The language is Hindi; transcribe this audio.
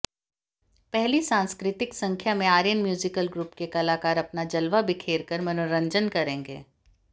पहली सांस्कृतिक संख्या में आर्यन म्यूजिकल ग्रुप के कलाकार अपना जलवा बिखेर कर मनोरंजन करेंगे